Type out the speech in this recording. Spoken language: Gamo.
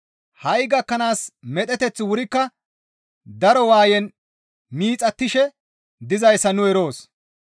Ha7i gakkanaas medheteththi wurikka daro waayen miixattishe dizayssa nu eroos.